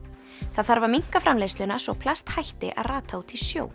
það þarf að minnka framleiðsluna svo plast hætti að rata út í sjó